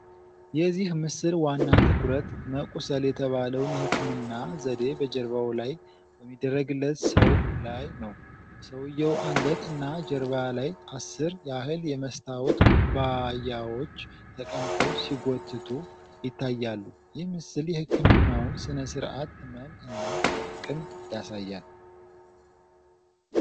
የዚህ ምስል ዋና ትኩረት መቁሰል የተባለውን የሕክምና ዘዴ በጀርባው ላይ በሚደረግለት ሰው ላይ ነው። በሰውየው አንገት እና ጀርባ ላይ አሥር ያህል የመስታወት ኩባያዎች ተቀምጠው ሲጎትቱ ይታያሉ። ይህ ምስል የሕክምናውን ሥነ ሥርዓት ህመም እና ጥቅም ያሳያል።